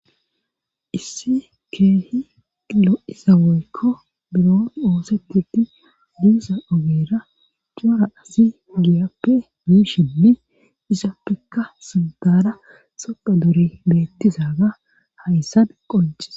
Issi keehilo7izaweykko biron oosetidi diiza ogeera cura azi giyappe miishinni isappekka sindara sopa dore beettizaga hayssan qoncis.